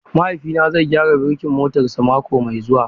Mahaifina zai gyara birkin motarsa mako mai zuwa.